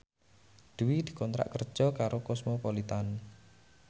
Dwi dikontrak kerja karo Cosmopolitan